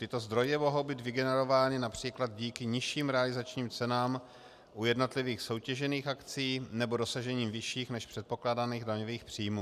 Tyto zdroje mohou být vygenerovány například díky nižším realizačním cenám u jednotlivých soutěžených akcí nebo dosažením vyšších než předpokládaných daňových příjmů.